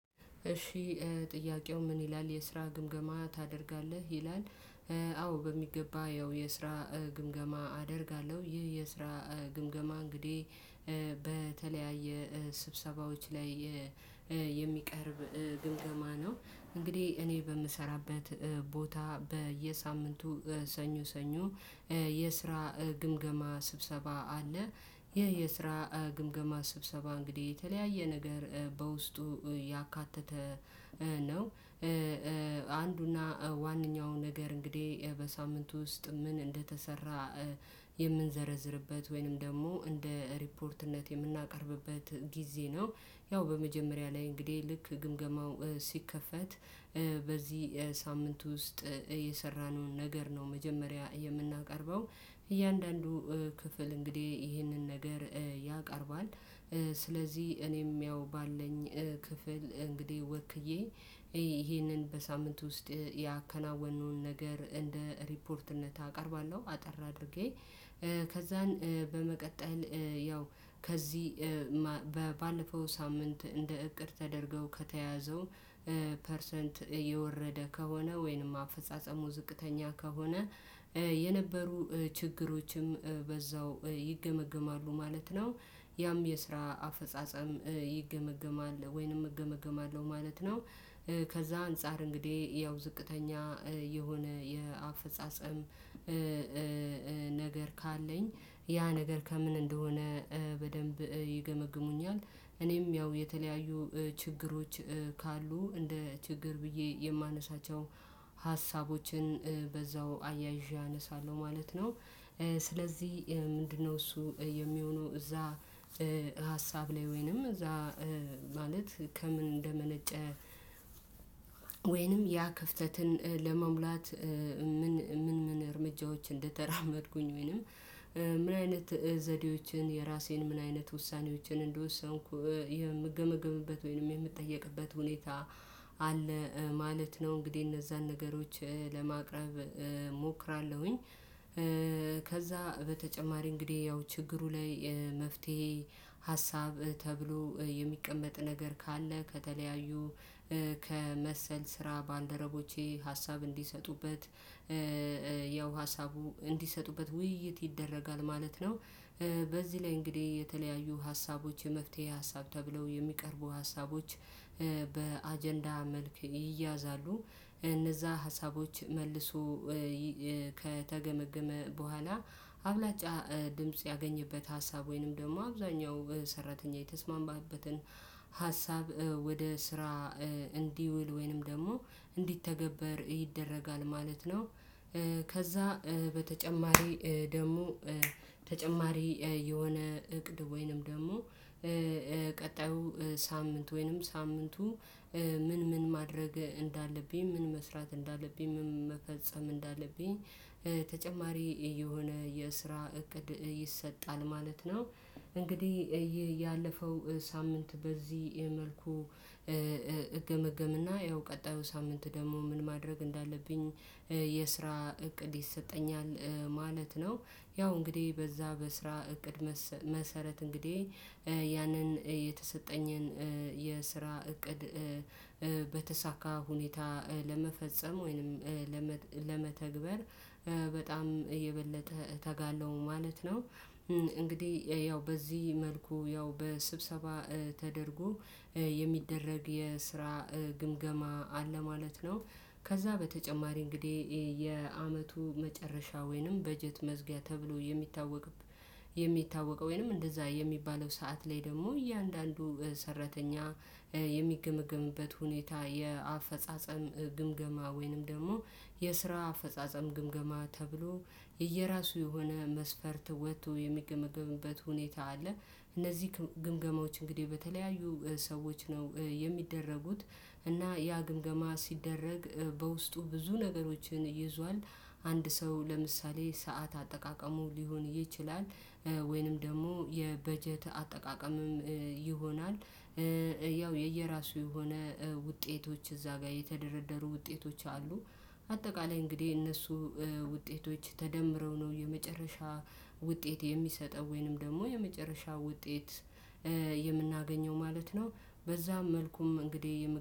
እሺ ጥያቄው ምን ይላል የስራ ግምገማ ታደርጋለህ ይላል? አዎ በሚገባ ያው የስራ ግምገማ አደርጋለሁ ይህ የስራ ግምገማ እንግዲህ በተለያየ ስብሰባዎች ላይ የሚቀርብ ግምገማ ነው። እንግዲህ እኔ በምሰራበት ቦታ በየሳምንቱ ሰኞ ሰኞ የስራ ግምገማ ስብሰባ አለ ይሄ የስራ ግምገማ ስብሰባ እንግዲህ የተለያየ ነገር በውስጡ ያካተተ ነው። አንዱና ዋናው ነገር እንግዲህ በሳምንቱ ውስጥ ምን እንደተሰራ የምንዘረዝርበት ወይንም ደግሞ እንደ ሪፖርትነት የምናቀርብበት ጊዜ ነው። ያው በመጀመሪያ ላይ እንግዲህ ልክ ግምገማው ሲከፈት በዚህ ሳምንት ውስጥ የሰራነውን ነገር ነው መጀመሪያ የምናቀርበው እያንዳንዱ ክፍል እንግዲህ ይህንን ነገር ያቀርባል። ስለዚህ እኔም ያው ባለኝ ክፍል እንግዲህ ወክዬ ይሄንን በሳምንቱ ውስጥ ያከናወኑን ነገር እንደ ሪፖርትነት አቀርባለሁ። አጠር አድርጌ ከዛን በመቀጠል ያው ከዚህ ባለፈው ሳምንት እንደ እቅድ ተደርገው ከተያዘው ፐርሰንት እየወረደ ከሆነ ወይንም አፈጻጸሙ ዝቅተኛ ከሆነ የነበሩ ችግሮችም በዛው ይገመገማሉ ማለት ነው። ያም የስራ አፈጻጸም ይገመገማል ወይንም እገመገማለሁ ማለት ነው። ከዛ አንፃር እንግዲህ ያው ዝቅተኛ የሆነ የአፈፃፀም ካለኝ ያ ነገር ከምን እንደሆነ በደንብ ይገመግሙኛል። እኔም ያው የተለያዩ ችግሮች ካሉ እንደ ችግር ብዬ የማነሳቸው ሀሳቦችን በዛው አያይዤ አነሳለሁ ማለት ነው። ስለዚህ ምንድነው እሱ የሚሆነው እዛ ሀሳብ ላይ ወይንም እዛ ማለት ከምን እንደመነጨ? ወይንም ያ ክፍተትን ለመሙላት ምን ምን ምን እርምጃዎች እንደተራመድኩኝ ወይንም ምን አይነት ዘዴዎችን የራሴን ምን አይነት ውሳኔዎችን እንደወሰንኩ ይሄም የምገመገምበት ወይንም የምጠየቅበት ሁኔታ አለ። ማለት ነው እንግዲህ እነዛን ነገሮች ለማቅረብ እሞክራለሁኝ። ከዛ በተጨማሪ እንግዲህ ያው ችግሩ ላይ መፍትሄ ሀሳብ ተብሎ የሚቀመጥ ነገር ካለ ከተለያዩ ከመሰል ስራ ባንደረቦቼ ሀሳብ እንዲሰጡበት ያው ሀሳቡ እንዲሰጡበት ውይይት ይደረጋል ማለት ነው። በዚህ ላይ እንግዲህ የተለያዩ ሀሳቦች የመፍትሄ ሀሳብ ተብለው የሚቀርቡ ሀሳቦች በአጀንዳ መልክ ይያዛሉ። እነዛ ሀሳቦች መልሶ ከተገመገመ በኋላ አብላጫ ድምጽ ያገኘበት ሀሳብ ወይንም ደግሞ አብዛኛው ሰራተኛ የተስማማበትን ሀሳብ ወደ ስራ እንዲውል ወይንም ደግሞ እንዲተገበር ይደረጋል ማለት ነው። ከዛ በተጨማሪ ደግሞ ተጨማሪ የሆነ እቅድ ወይንም ደግሞ ቀጣዩ ሳምንት ወይንም ሳምንቱ ምን ምን ማድረግ እንዳለብኝ ምን መስራት እንዳለብኝ ምን መፈጸም እንዳለብኝ ተጨማሪ የሆነ የስራ እቅድ ይሰጣል ማለት ነው። እንግዲህ ያለፈው ሳምንት በዚህ መልኩ እገመገምና ያው ቀጣዩ ሳምንት ደግሞ ምን ማድረግ እንዳለብኝ የስራ እቅድ ይሰጠኛል ማለት ነው። ያው እንግዲህ በዛ በስራ እቅድ መሰረት እንግዲህ ያንን የተሰጠኝን የስራ እቅድ በተሳካ ሁኔታ ለመፈጸም ወይንም ለመተግበር በጣም የበለጠ እተጋለው ማለት ነው። እንግዲህ ያው በዚህ መልኩ ያው በስብሰባ ተደርጎ የሚደረግ የስራ ግምገማ አለ ማለት ነው። ከዛ በተጨማሪ እንግዲህ የአመቱ መጨረሻ ወይንም በጀት መዝጊያ ተብሎ የሚታወቅ የሚታወቅ ወይንም እንደዛ የሚባለው ሰዓት ላይ ደግሞ እያንዳንዱ ሰራተኛ የሚገመገምበት ሁኔታ የአፈጻጸም ግምገማ ወይንም ደግሞ የስራ አፈጻጸም ግምገማ ተብሎ የየራሱ የሆነ መስፈርት ወጥቶ የሚገመግምበት ሁኔታ አለ። እነዚህ ግምገማዎች እንግዲህ በተለያዩ ሰዎች ነው የሚደረጉት እና ያ ግምገማ ሲደረግ በውስጡ ብዙ ነገሮችን ይዟል። አንድ ሰው ለምሳሌ ሰዓት አጠቃቀሙ ሊሆን ይችላል። ወይንም ደግሞ የበጀት አጠቃቀምም ይሆናል። ያው የየራሱ የሆነ ውጤቶች እዛ ጋር የተደረደሩ ውጤቶች አሉ። አጠቃላይ እንግዲህ እነሱ ውጤቶች ተደምረው ነው የመጨረሻ ውጤት የሚሰጠው ወይንም ደግሞ የመጨረሻ ውጤት የምናገኘው ማለት ነው። በዛ መልኩም እንግዲህ